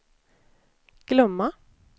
glömma